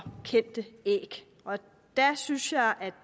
kendte æg der synes jeg